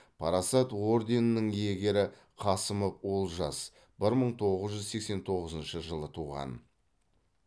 парасат орденінің иегері қасымов олжас бір мың тоғыз жүз сексен тоғызыншы жылы туған